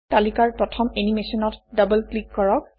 তালিকাৰ প্ৰথম এনিমেচনত ডবল ক্লিক কৰক